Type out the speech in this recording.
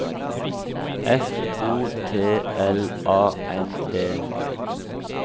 F O T L A N D